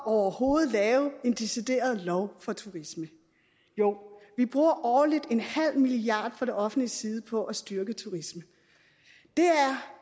overhovedet lave en decideret lov for turisme jo vi bruger årligt en halv milliard kroner fra det offentliges side på at styrke turisme